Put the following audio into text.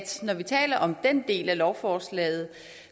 når vi taler om den del af lovforslaget